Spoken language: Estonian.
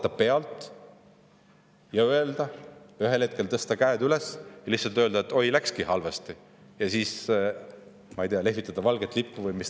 Kas vaadata pealt, ühel hetkel tõsta käed üles ja lihtsalt öelda: "Oi, läkski halvasti," ja siis, ma ei tea, lehvitada valget lippu?